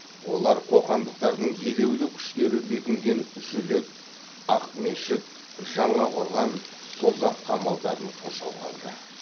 олар қоқандықтардың елеулі күштері бекінген жүлек ақмешіт жаңақорған созақ қамалдарын қоршауға алды